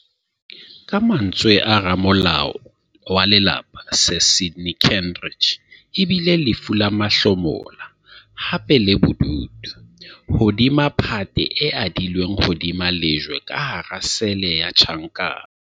Ka mantswe a ramolao wa lelapa Sir Sydney Kentridge, e bile "lefu la mahlomola, hape le bodutu - hodima phate e adilweng hodima lejwe ka hara sele ya tjhankana".